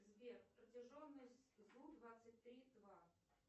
сбер протяженность зу двадцать три два